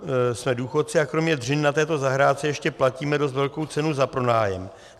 Jsme důchodci a kromě dřiny na této zahrádce ještě platíme dost velkou cenu za pronájem.